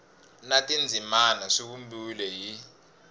na tindzimana swi vumbiwile hi